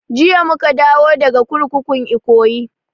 Jiya muka dawo daga kurkukun ikoyi